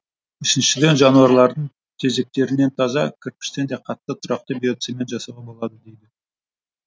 үшіншіден жануарлардың тезектерінен таза кірпіштен де қатты тұрақты биоцемент жасауға болады дейді